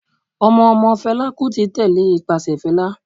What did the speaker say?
Ọmọ ọmọ Fela Kuti tẹ́lẹ̀ ipase Fela.